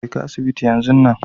jeka asibiti yan zun nan.